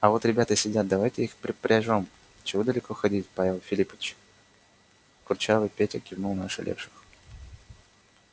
а вот ребята сидят давайте их припряжём чего далеко ходить павел филиппыч курчавый петя кивнул на ошалевших